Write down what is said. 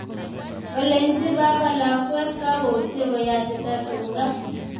Kolenji baba lakwet kagoutye koyatita tuga